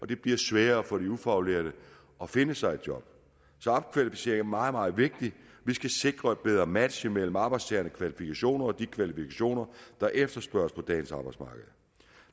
det bliver sværere for de ufaglærte at finde sig et job så opkvalificering er meget meget vigtigt vi skal sikre et bedre match mellem arbejdstagernes kvalifikationer og de kvalifikationer der efterspørges på dagens arbejdsmarked